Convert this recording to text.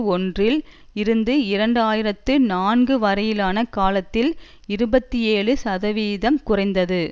ஒன்றில் இருந்து இரண்டு ஆயிரத்து நான்கு வரையிலான காலத்தில் இருபத்தி ஏழு சதவீதம் குறைந்தது